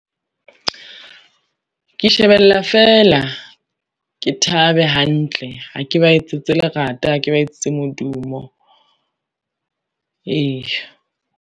Ke shebella feela, ke thabe hantle ha ke ba etsetse lerata ha ke ba etsetse modumo. Eya.